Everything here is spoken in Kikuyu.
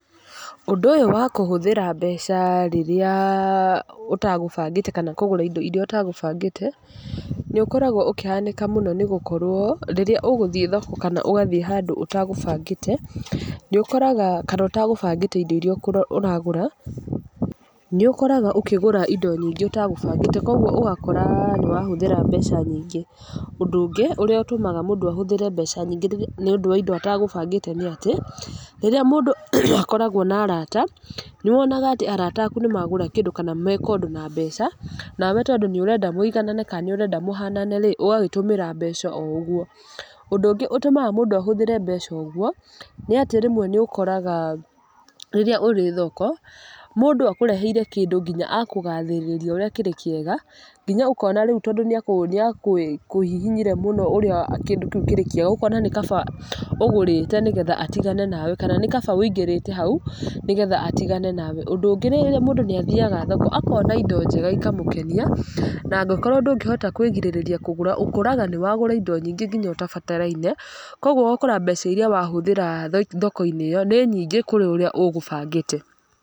Ũndũ ũyũ wa kũhũthĩra mbeca rĩrĩa ũtagũbangĩte kana kũgũra indo irĩa ũtagũbangĩte, nĩ ũkoragwo ũkĩhanĩka mũno nĩ gũkorwo, rĩrĩa ũgũthiĩ thoko kana ũgathiĩ handũ ũtagũbangĩte, nĩ ũkoraga kana ũtagũbangĩte indo irĩa ũragũra, nĩ ũkoraga ũkĩgũra indo nyingĩ ũtagabũngĩte. Kũguo ũgakora nĩ wahũthĩra mbeca nyingĩ. Ũndũ ũngĩ ũrĩa ũtũmaga mũndũ ahũthĩre mbeca nyingĩ rĩrĩa nĩ wa ũndũ atagũbangĩte nĩ atĩ, rĩrĩa mũndũ akoragwo na araata, nĩ wonaga atĩ araata aku nĩ magũra kĩndũ kana meka ũndũ na mbeca, nawe tondũ nĩ ũrenda mũiganane kana nĩ ũrenda mũhanane rĩ, ũgagĩtũmĩra mbeca o ũguo. Ũndũ ũngĩ ũtũmaga mũndũ ahũthĩra mbeca ũguo, nĩ atĩ rĩmwe nĩ ũkoraga rĩrĩa ũrĩ thoko, mũndũ akũreheire kĩndũ nginya akũgathĩrĩria ũrĩa kĩrĩ kĩega, nginya ũkona rĩu tondũ nĩ nĩ akũhihinyire mũno ũrĩa kĩndũ kĩu kĩrĩ kĩega, ũkona nĩ kaba ũgũrĩte nĩgetha atigane nawe. Kana nĩ kaba wĩingĩrĩte hau, nĩgetha atigane nawe. Ũndũ ũngĩ rĩrĩa mũndũ nĩ athiaga thoko, akona indo njega ikamũkenia, na angĩkorwo ndũngĩhota kwĩgirĩrĩria kũgũra, ũkoraga nĩ wagũra indo nyingĩ ngina ũtabataraine. Kũguo ũgakora mbeca irĩa wahũthĩra thoko-inĩ ĩyo, nĩ nyingĩ kũrĩa ũrĩa ũgũbangĩte.